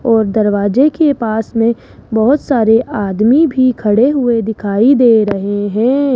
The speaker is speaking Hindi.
और दरवाजे के पास में बहुत सारे आदमी भी खड़े हुए दिखाई दे रहे हैं।